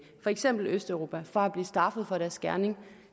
eksempel østeuropa fra at blive straffet for deres gerning